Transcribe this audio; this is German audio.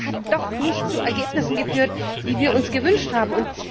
Das hat doch nicht zu Ergebnissen geführt, die wir uns gewünscht haben.